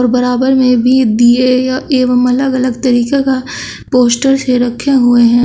बराबर में भी दिए अ एवं अलग अलग तरीके का पोस्टर ये रखे हुए हैं।